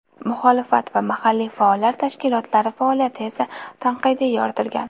Muxolifat va mahalliy faollar tashkilotlari faoliyati esa tanqidiy yoritilgan.